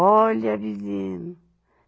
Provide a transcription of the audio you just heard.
Olha, vizinho.